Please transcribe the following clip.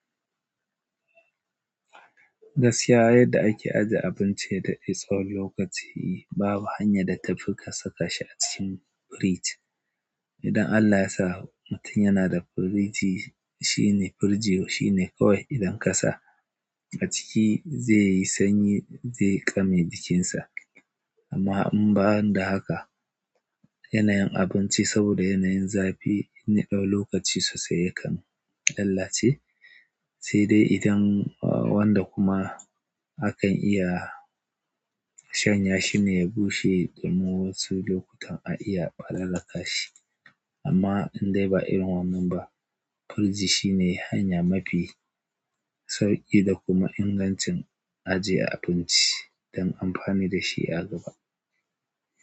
Gaskiya, yadda ake ajiye abinci ya daɗe tsawon lokaci babu hanya da tafi ka saka shi a cikin firiji. Idan Allah ya sa mutum yana da firiji, shine firiji shine kawai idan ka sa a ciki zai yi sanyi, zai ƙame jikinsa. Amma in ba da haka, yanayin abinci saboda yanayin zafi inya ɗau lokaci sosai yakan lallace saide idan wanda kuma akan iya shanya shine ya bushe, sannan wasu lokutan a iya ƙalala ka shi. Amma in dai ba irin wannan ba, firiji shi ne hanya mafi sauƙi da kuma ingancin ajiye abinci don amfani da shi a gaba.